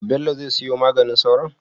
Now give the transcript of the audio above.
Bello zai siyo maganin sauron?